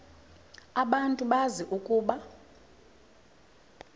abantu bazi ukuba